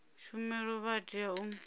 tshumelo vha a tea u